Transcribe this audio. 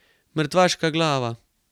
Mrtvaška glava!